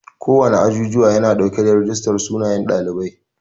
Kowana azuzuwa yana dauke da rijistar sunayen ɗalibai.